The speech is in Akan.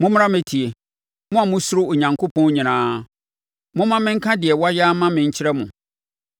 Mommra mmɛtie, mo a mosuro Onyankopɔn nyinaa; momma menka deɛ wayɛ ama me nkyerɛ mo.